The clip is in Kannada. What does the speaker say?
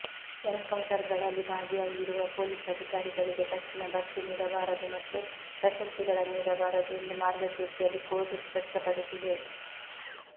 ಎನ್ಕೌಂಟರ್ಗಳಲ್ಲಿ ಭಾಗಿಯಾಗಿರುವ ಪೊಲೀಸ್ ಅಧಿಕಾರಿಗಳಿಗೆ ತಕ್ಷಣ ಬಡ್ತಿ ನೀಡ ಬಾರದು ಮತ್ತು ಪ್ರಶಸ್ತಿಗಳನ್ನು ನೀಡಬಾರದು ಎಂದು ಮಾರ್ಗಸೂಚಿಯಲ್ಲಿ ಕೋರ್ಟ್ ಸ್ಪಷ್ಟಪಡಿಸಿದೆ